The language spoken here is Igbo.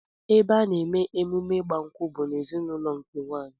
Ebe a na-eme emume ịgba nkwụ bụ n'ezinụlọ nke nwaanyị